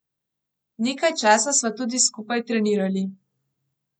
Nekaj časa sva tudi skupaj trenirali.